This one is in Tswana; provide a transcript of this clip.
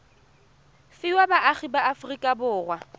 fiwa baagi ba aforika borwa